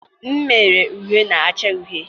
m mere m uwe na-acha uhie